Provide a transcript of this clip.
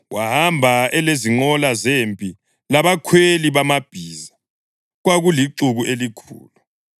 Wahamba elezinqola zempi labakhweli bamabhiza. Kwakulixuku elikhulu.